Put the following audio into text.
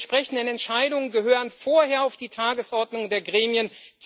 Die entsprechenden Entscheidungen gehören vorher auf die Tagesordnung der Gremien.